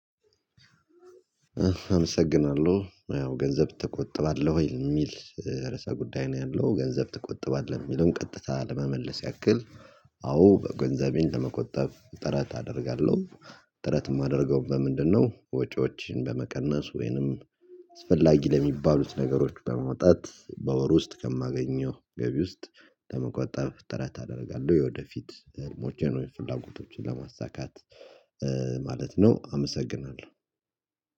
አመሰግናለሁ ያው ገንዘብ ትቆጥባለህ ወይ የሚል? ርዕሰ ጉዳይ ነው ያለው ገንዘብ ትቆጥባለህ የሚለውን ቀጥታ ለመመለስ ያክል። አዎ በገንዘቤን ለመቆጠብ ጥረት አደርጋለሁ። ጥረት የማደርገው በምንድነው? ወጪዎችን በመቀነስ ወይንም አስፈላጊ ለሚባሉት ነገሮች በመውጣት በወር ውስጥ ከማገኘው ገቢ ውስጥ። ለመቆጠብ ተራ ታደርጋለህ? የወደፊት ሞቼን ወይም ፍላጎቶችን ለማሳካት ማለት ነው። አመሰግናለሁ